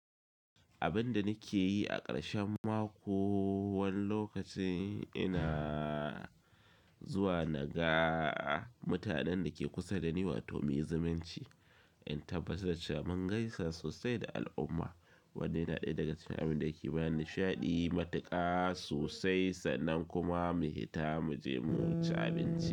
Abin da nake yi a ƙarshen mako, wani lokaci ina zuwa na ga mutanen da ke kusa dani wato mu yi zumunci, in tabbatar da cewa mun gaisa sosai da al'umma. Wannan ɗaya daga cikin abin da yake bani sha'adi matuƙa sosai sannan kuma mu hita mu je mu ci abinci.